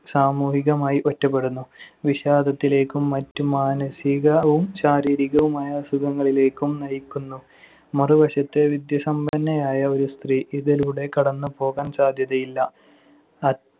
സാമൂഹികമായി ഒറ്റപ്പെടുന്നു. വിഷാദത്തിലേക്കും മറ്റ് മാനസികവും ശാരീരികവുമായ അസുഖങ്ങളിലേക്കും നയിക്കുന്നു. മറുവശത്ത് വിദ്യാസമ്പന്നയായ ഒരു സ്ത്രീ ഇതിലൂടെ കടന്നുപോകാൻ സാധ്യതയില്ല. അ~